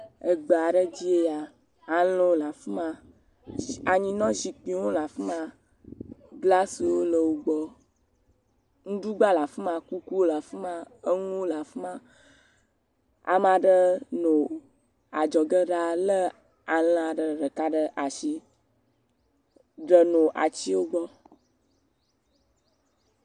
Egbe aɖe dzi ye ya, alẽwo le afi ma, anyinɔzikpuiwo le afi ma, glasiwo le wo gbɔ, ŋuɖugba le afi ma, kukuwo lefi ma, enuwo le fi ma, ame aɖe nɔ adzɔge lé alẽ ɖeka ɖe asi, ɖenɔ atiwo gbɔ.